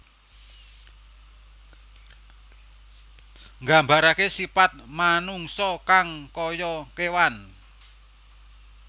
Nggambaraké sipat manungsa kang kaya kéwan